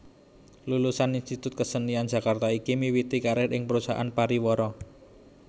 Lulusan Institut Kesenian Jakarta iki miwiti karir ing perusahaan pariwara